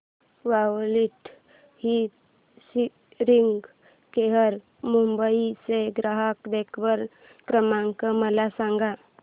quality hearing care Mumbai चा ग्राहक देखभाल क्रमांक मला सांगा